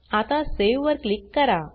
आता सावे वर क्लिक करा